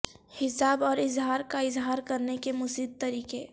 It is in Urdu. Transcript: حساب اور اظہار کا اظہار کرنے کے مزید طریقے